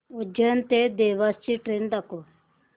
उज्जैन ते देवास ची ट्रेन दाखव